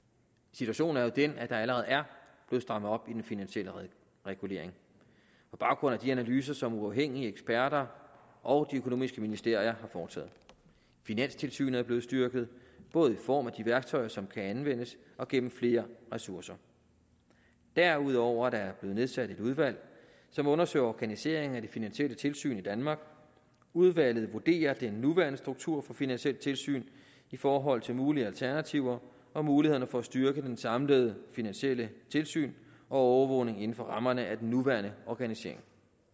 situationen er jo den at der allerede er blevet strammet op i den finansielle regulering på baggrund af de analyser som uafhængige eksperter og de økonomiske ministerier har foretaget finanstilsynet er blevet styrket både i form af de værktøjer som kan anvendes og gennem flere ressourcer derudover er der blevet nedsat et udvalg som undersøger organiseringen af det finansielle tilsyn i danmark udvalget vurderer den nuværende struktur for finansielt tilsyn i forhold til mulige alternativer og mulighederne for at styrke det samlede finansielle tilsyn og overvågning inden for rammerne af den nuværende organisering